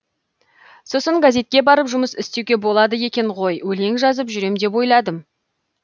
сосын газетке барып жұмыс істеуге болады екен ғой өлең жазып жүрем деп ойладым